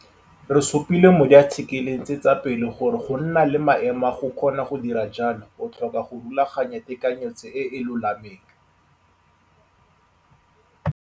Re supile mo diathikeleng tse tsa pele gore go nna le maemo a go kgona go dira jalo o tlhoka go rulaganya tekanyetso e e lolameng.